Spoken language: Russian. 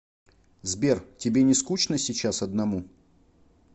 сбер тебе не скучно сейчас одному